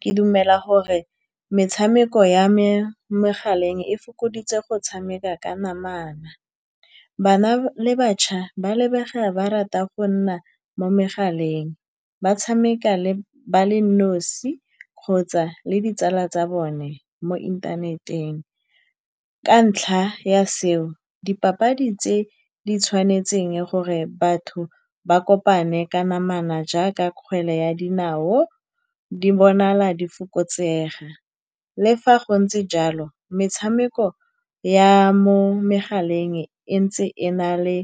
Ke dumela gore metshameko ya mo megaleng e fokoditse go tshameka ka namana. Bana le batjha ba lebega ba rata go nna mo megaleng, ba tshameka le ba le nosi kgotsa le ditsala tsa bone mo inthaneteng. Ka ntlha ya seo, dipapadi tse di tshwanetseng gore batho ba kopane ka namana, jaaka kgwele ya dinao, di bonala di fokotsega, le fa go ntse jalo, metshameko ya mo megaleng e ntse e na le